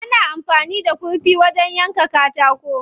Ana amfani da kurfi wajen yanka katako.